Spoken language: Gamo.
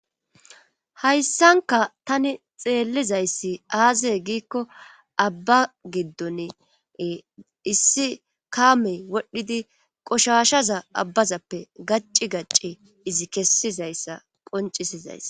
Hayssankka tani xeellizayssi aaze giikko abba giddoni ee issi kaamey wodhidi qoshaashaza abbazappe gacci gacci izi kessizyssa qonccisizayssa.